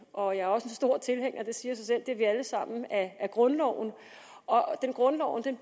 og jeg er også stor tilhænger det siger sig selv det er vi alle sammen af grundloven grundloven